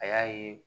A y'a ye